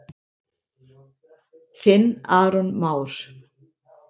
Þinn Aron Már.